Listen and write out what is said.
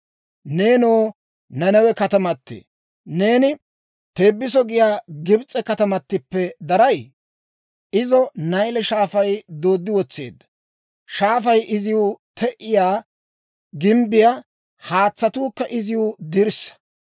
Neenoo Nanawe katamatee, neeni Teebiso giyaa Gibs'e katamattippe daray? Izo Nayle Shaafay dooddi wotseedda. Shaafay iziw te"iyaa gimbbiyaa; haatsatuukka iziw dirssaa.